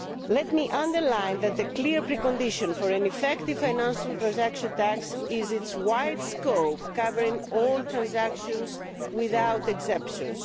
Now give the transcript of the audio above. Let me underline that the clear precondition for an effective financial transaction tax is its wide scope, covering all transactions without exemptions.